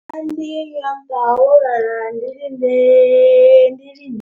Nandi nyamutwa wo lala ndi linde ndi linde.